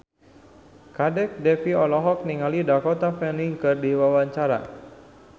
Kadek Devi olohok ningali Dakota Fanning keur diwawancara